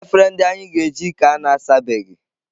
Efere ndị anyị ga-eji ka na-asabeghị.